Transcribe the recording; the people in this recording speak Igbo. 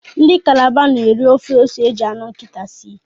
Ndi calabar n'eri ofe ose eji anu nkita sie